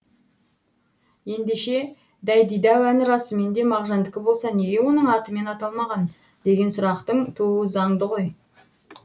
ендеше дайдидау әні расымен де мағжандыкі болса неге оның атымен аталмаған деген сұрақтың тууы заңды ғой